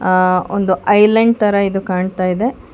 ಆ ಒಂದು ಐಲ್ಯಾಂಡ್ ತರ ಇದು ಕಾಣ್ತಾಯಿದೆ.